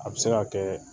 A bɛ se ka kɛ